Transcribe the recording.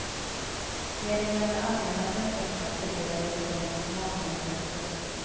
Med de gamla allmänna blanketterna fördelades lånen på makarna helt korrekt.